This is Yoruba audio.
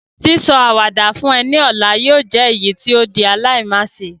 Sísọ àwàdà fún ọ ni ọ̀la yóò jẹ èyítí o di aláimáse